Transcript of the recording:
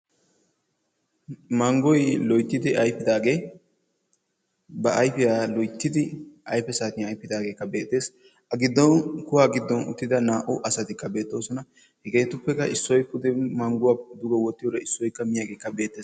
Manggoy loyttidi ayfidaage ba ayfiyaa loyttidi ayfe saattiyan ayfidaagekka beettes, a giddon kuwaa giddon uttida naa'u asattikka beettossona hegettuppe issoy puudeppe mangguwaa dugge wottiyodekka issoykka miyaagekka beettes.